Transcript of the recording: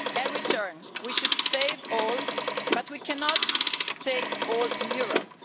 and return we should save all, but we cannot take all in Europe.